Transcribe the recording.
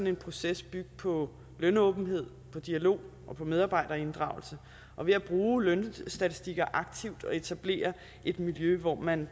en proces bygge på lønåbenhed og dialog og på medarbejderinddragelse og ved at bruge lønstatistikker aktivt og etablere et miljø hvor man